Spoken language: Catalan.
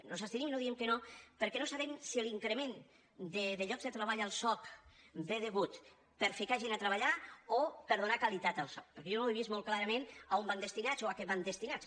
ens hi abstenim i no diem que no perquè no sabem si l’increment de llocs de treball al soc és degut per ficar gent a treballar o per donar qualitat al soc perquè jo no he vist molt clarament a on van destinats o a què van destinats